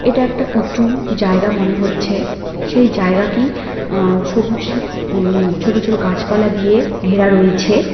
এটা একটা উচু জায়গা মনে হচ্ছে সেই জায়গাটি আ সবুজ উম ছোট ছোট গাছপালা দিয়ে ঘেরা রয়েছে।